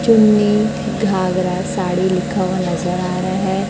चुन्नी घागरा साड़ी लिखा हुआ नजर आ रहा है।